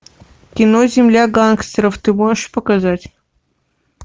кино земля гангстеров ты можешь показать